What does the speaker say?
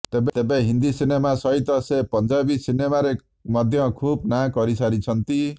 ତେବେ ହିନ୍ଦି ସିନେମା ସହିତ ସେ ପଂଜାବି ସିନେମାରେ ମଧ୍ୟ ଖୁବ୍ ନାଁ କରି ସାରିଛନ୍ତି